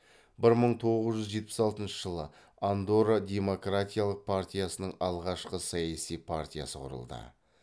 бір мың тоғыз жүз жетпіс алтыншы андорра демократиялық партиясының алғашқы саяси партиясы құрылды